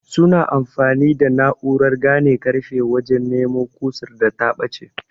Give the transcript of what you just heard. sunyi amfani da na'urar gane karfe wajen nemo kusar da ta bace